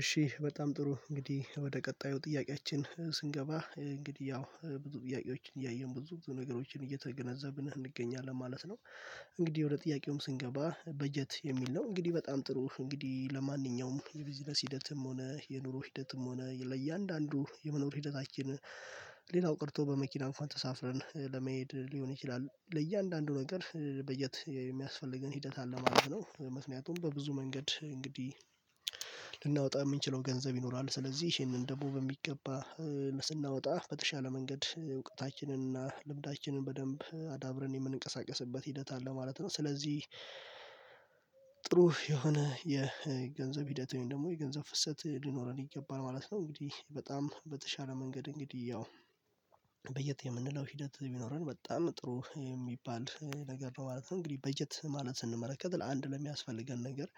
እሺ በጣም ጥሩ እንግዲህ ወደ ቀጣዩ ጥያቄያችን ስንገባ እንግዲህ ያው ብዙ ጥያቄዎችን እያየን ብዙ ብዙ ነገሮችን እየተገነዘብን እንገኛለን ማለት ነው። እንግዲህ ወደ ጥያቄውም ስንገባ በጀት የሚል ነው እንግዲህ በጣም ጥሩ እንግዲህ ለማንኛውም የቢዝነስ ሂደትም ሆነ የኑሮ ሂደትም ሆነ ለእያንዳንዱ የመኖር ሂደታችን ሌላው ቀርቶ በመኪና እንኳን ተሳፍረን ለመሄድ ሊሆን ይችላል ለእያንዳንዱ ነገር በጀት የሚያስፈልገን ሂደት አለ ማለት ነው። ምክንያቱም በብዙ መንገድ እንግዲህ ልናወጣ የምንችለው ገንዘብ ይኖራል ስለዚህ ይሄንን ደግሞ በሚገባ ስናወጣ በተሻለ መንገድ እውቀታችንን እና ልምዳችንን በደንብ አዳብረን የምንቀሳቀስበት ሂደት አለ ማለት ነው። ስለዚህ ጥሩ የሆነ የገንዘብ ሂደት ወይም ደግሞ የገንዘብ ፍሰት ሊኖረን ይገባል ማለት ነው። እንግዲህ በጣም በተሻለ መንገድ እንግዲህ ያው በየት የምንለው ሂደት ቢኖረን በጣም ጥሩ የሚባል ነገር ነው። ማለት እንግዲህ በጀት ማለት ስንመረከት ለአንድ ለሚያስፈልገን ነገር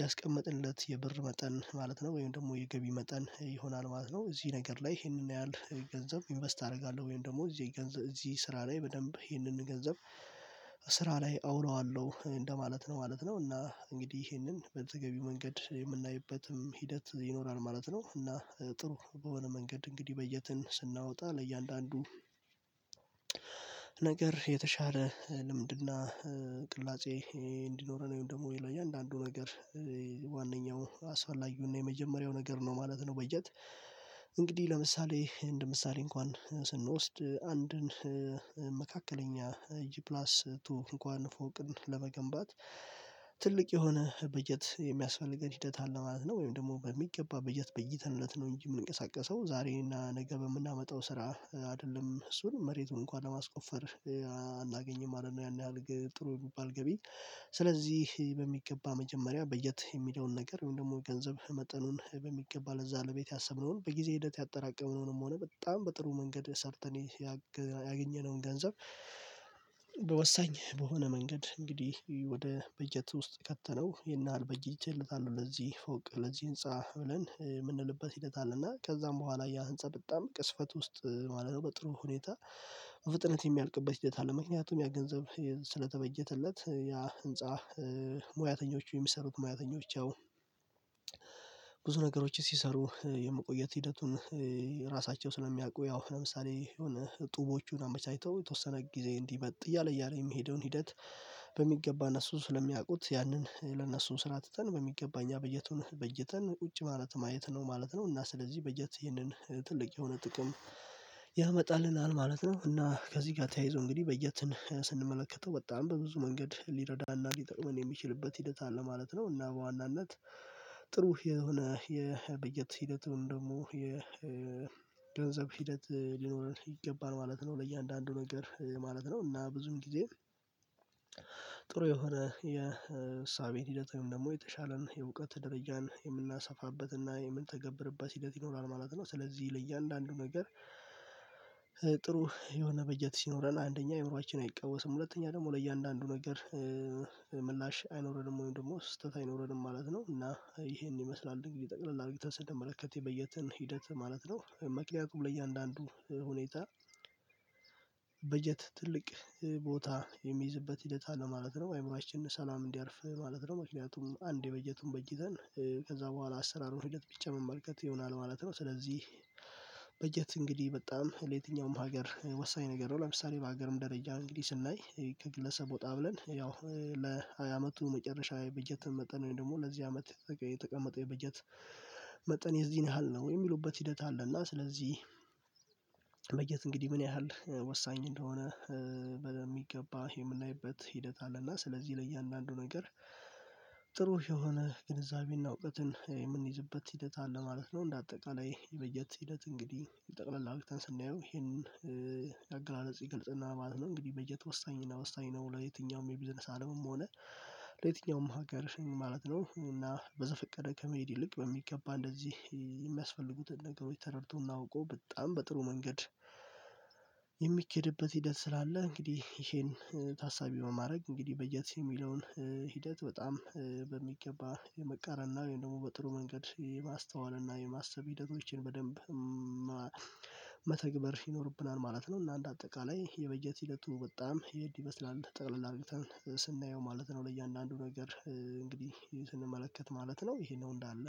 ያስቀመጥለት የብር መጠን ማለት ነው። ወይም ደግሞ የገቢ መጠን ይሆናል ማለት ነው። እዚህ ነገር ላይ ይሄንን ያህል ገንዘብ ኢንቨስት አደርጋለሁ ወይም ደግሞ እዚህ ስራ ላይ በደንብ ይሄንን ገንዘብ ስራ ላይ አውለዋለሁ እንደማለት ነው ማለት ነው። እና እንግዲህ ይሄንን በተገቢ መንገድ የምናይበትም ሂደት ይኖራል ማለት ነው። እና ጥሩ በሆነ መንገድ እንግዲህ በጀትን ስናወጣ ለእያንዳንዱ ነገር የተሻለ ልምድና ቅላጼ እንዲኖረን ደግሞ ለያዳአንዱ ነገር ዋነኛው አስፈላጊው እና የመጀመሪያው ነገር ነው ማለት ነው። በጀት እንግዲ ለምሳሌ እንደ ምሳሌ እንኳን ስንወስድ አንድን መካከለኛ ጂፕላስ ቱ እንኳን ፎቅን ለመገንባት ትልቅ የሆነ በጀት የሚያስፈልገን ሂደት አለ ማለት ነው። ወይም ደግሞ በሚገባ በጀት በጅተልነት ነው እንጂ የምንቀሳቀሰው ዛሬና ነገ የምናመጣው ስራ አይደለም እሱን መሬቱን እንኳን ለማስቆፈር አናገኝም ማለት ነው። ያን ያህል ጥሩ የሚባል ገቢ ስለዚህ። በሚገባ መጀመሪያ በጀት የሚለውን ነገር ወይም ደግሞ ገንዘብ መጠኑን በሚገባ ለዛ ለቤት ያሰብነውን በጊዜ ሂደት ያጠራቀምነውንም ሆነ በጣም በጥሩ መንገድ ሰርተን ያገኘነውን ገንዘብ በወሳኝ በሆነ መንገድ እንግዲህ ወደ በጀት ውስጥ ከተነው ይነሃል። በጅቸለታለሁ ለዚህ ፎቅ ለዚህ ህንፃ ብለን የምንልበት ሂደት አለና ከዛም በኋላ ያ ህንፃ በጣም ግዝፈት ውስጥ ማለት ነው። በጥሩ ሁኔታ ፍጥነት የሚያልቅበት ሂደት አለ። ምክንያቱም ያ ገንዘብ ስለተበጀተለት ያ ህንፃ ሙያተኞች የሚሰሩት ሙያተኞች አዎ ብዙ ነገሮችን ሲሰሩ የምቆየት ሂደቱን ራሳቸው ስለሚያውቁ ያው ለምሳሌ የሆነ ጡቦቹን አመቻችተው የተወሰነ ጊዜ እንዲመጥ እያለ እያለ የሚሄደውን ሂደት። በሚገባ እነሱን ስለሚያውቁት ያንን ለእነሱ ስራ ትተን በሚገባ እኛ በጀቱን በጂተን ቁጭ ማለት ማየት ነው ማለት ነው። እና ስለዚህ በጀት ይህንን ትልቅ የሆነ ጥቅም ያመጣልናል ማለት ነው። እና ከዚህ ጋር ተያይዞ እንግዲህ በጀትን ስንመለከተው በጣም በብዙ መንገድ ሊረዳና ሊጠቅመን የሚችልበት ሂደት አለ ማለት ነው። እና በዋናነት ጥሩ የሆነ የበጀት ሂደቱን ደግሞ የገንዘብ ሂደት ሊኖር ይገባል ማለት ነው። ለእያንዳንዱ ነገር ማለት ነው። እና ብዙም ጊዜ ጥሩ የሆነ የእሳቤን ሂደት ወይም ደግሞ የተሻለን የእውቀት ደረጃን የምናሰፋበትና የምንተገብርበት ሂደት ይኖራል ማለት ነው። ስለዚህ ለያንዳአንዱ ነገር ጥሩ የሆነ በጀት ሲኖረን አንደኛ አይምሮአችን አይቃወስም ሁለተኛ ደግሞ ለእያንዳንዱ ነገር ምላሽ አይኖረድም ወይም ደግሞ ስህተት አይኖረድም ማለት ነው። እና ይሄን ይመስላል እንግዲህ ጠቅለል አድርግተን ስንመለከት የበጀትን ሂደት ማለት ነው። ምክንያቱም ለእያንዳንዱ ሁኔታ በጀት ትልቅ ቦታ የሚይዝበት ሂደት አለ ማለት ነው። አይምሮአችን ሰላም እንዲያርፍ ማለት ነው። ምክንያቱም አንድ የበጀቱን በጅተን ከዛ በኋላ አሰራሩን ሂደት መመልከት ይሆናል ማለት ነው። ስለዚህ በጀት እንግዲህ በጣም ለየትኛውም ሀገር ወሳኝ ነገር ነው። ለምሳሌ በሀገርም ደረጃ እንግዲህ ስናይ ከግለሰብ ወጣ ብለን ያው ለሃያ አመቱ መጨረሻ የበጀት መጠን ወይም ደግሞ ለዚህ አመት የተቀመጠው የበጀት መጠን የዚህን ያህል ነው የሚሉበት ሂደት አለና ስለዚህ። በጀት እንግዲህ ምን ያህል ወሳኝ እንደሆነ በሚገባ የምናይበት ሂደት አለና ስለዚህ ለእያንዳንዱ ነገር ጥሩ የሆነ ግንዛቤና እውቀትን የምንይዝበት ሂደት አለ ማለት ነው። እንደ አጠቃላይ የመየት ሲለት እንግዲህ የጠቅለል አድርግተን ስናየው ይሄንን አገላለጽ ይገልጽልናል ማለት ነው። እንግዲህ በጀት ወሳኝና ወሳኝ ነው። ለየትኛውም የቢዝነስ አለምም ሆነ ለየትኛውም ሀገር ማለት ነው። እና በዘፈቀደ ከመሄድ ይልቅ በሚገባ እንደዚህ የሚያስፈልጉትን ነገሮች ተረድቶ አውቆ በጣም በጥሩ መንገድ የሚኬድበት ሂደት ስላለ። እንግዲህ ይሄን ታሳቢው ማድረግ እንግዲህ በጀትስ የሚለውን ሂደት በጣም በሚገባ የመቃረን ነው ወይም ደግሞ በጥሩ መንገድ የማስተዋል እና የማሰብ ሂደቶችን በደንብ መተግበር ይኖርብናል ማለት ነው። እና አንድ አጠቃላይ የበጀት ሂደቱ በጣም ይሄድ ይመስላል ጠቅለል አርግተን ስናየው ማለት ነው። ለእያንዳንዱ ነገር እንግዲህ ስንመለከት ማለት ነው። ይሄ ነው እንዳለ